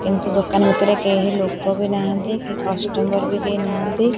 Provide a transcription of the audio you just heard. କିନ୍ତୁ ଦୋକାନ ଭିତରେ କେହି ଲୋକ ବି ନାହାଁନ୍ତି କି କଷ୍ଟମର୍ ବି କେହି ନାହାଁନ୍ତି।